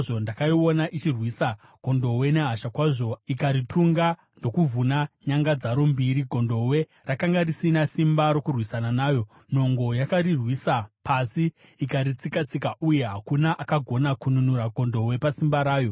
Ndakaiona ichirwisa gondobwe nehasha kwazvo, ikaritunga ndokuvhuna nyanga dzaro mbiri. Gondobwe rakanga risina simba rokurwisana nayo; nhongo yakariwisira pasi ikaritsika-tsika, uye hakuna akagona kununura gondobwe pasimba rayo.